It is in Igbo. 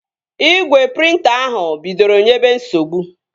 Igwe prịnta ahụ bidoro nyebe nsogbu